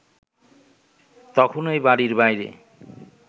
তখনই বাড়ির বাইরে